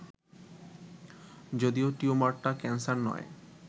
যদিও টিউমারটা ক্যানসার নয়